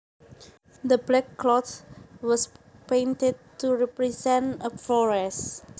The backcloth was painted to represent a forest